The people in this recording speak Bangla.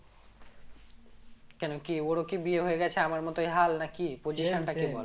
কেন কি ওর ও কি বিয়ে হয়ে গেছে আমার মতোই হাল নাকি